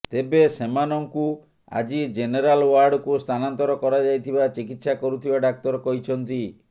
ତେବେ ସେମାନଙ୍କୁ ଆଜି ଜେନେରାଲ ୱାର୍ଡକୁ ସ୍ଥାନାନ୍ତର କରାଯାଇଥିବା ଚିକିତ୍ସା କରୁଥିବା ଡାକ୍ତର କହିଛନ୍ତି